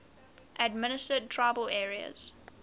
administered tribal areas